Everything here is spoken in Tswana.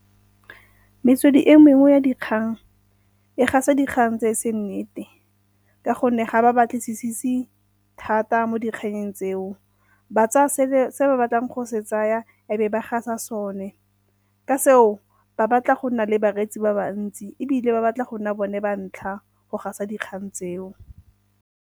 Metswedi e mengwe ya dikgang e gasa dikgang tse e seng nnete ka gonne ga ba batlisise thata mo dikganyeng tseo. Ba tsaya se ba batlang go se tsaya e be ba gasa sone. Ka seo ba batla go nna le bareetsi ba ba ntsi ebile ba batla go nna bone ba ntlha go gasa dikgang tseo.